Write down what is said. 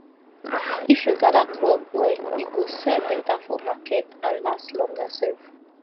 if you gather crop well e go sell better for market and last longer sef